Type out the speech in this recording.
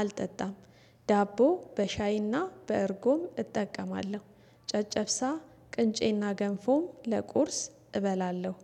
አልጠጣም። ዳቦ በሻይና በእርጎም እጠቀማለ፤ ጨጨብሳ ቅንጬና ገንፎም ለቁርስ እበላለሁ።